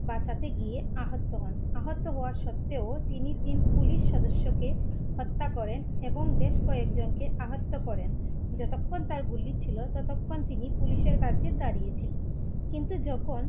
বাঁচাতে গিয়ে আহত হন আহত হওয়া সত্বেও তিনি তিন পুলিশ সদস্যকে হত্যা করেন এবং বেশ কয়েকজনকে আহত করেন যতক্ষণ তার গুলি ছিল ততক্ষণ তিনি পুলিশের কাছে দাঁড়িয়ে ছিলেন, কিন্তু যখন